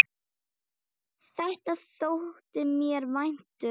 Þetta þótti mér vænt um.